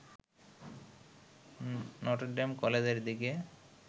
Notre Dame কলেজের দিকে